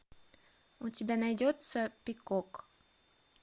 у тебя найдется пикок